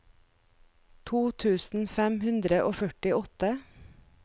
to tusen fem hundre og førtiåtte